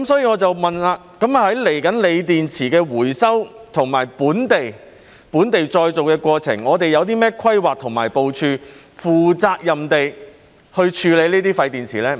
我想問接下來在鋰電池的回收和本地再造的過程中，我們有何規劃和部署，負責任地處理這些廢電池？